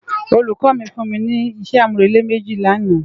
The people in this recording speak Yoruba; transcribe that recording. Ólúkò mi fún mi ni isé ámúrélé méji làná